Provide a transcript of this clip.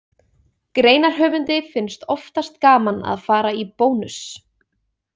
Greinarhöfundi finnst oftast gaman að fara í Bónus.